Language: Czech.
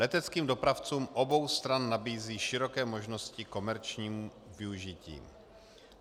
Leteckým dopravcům obou stran nabízí široké možnosti ke komerčnímu využití.